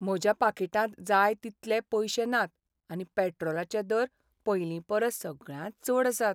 म्हज्या पाकीटांत जाय तितले पयशे नात आनी पेट्रोलाचे दर पयलींपरस सगळ्यांत चड आसात.